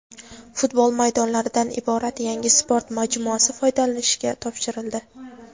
futbol maydonlaridan iborat yangi sport majmuasi foydalanishga topshirildi.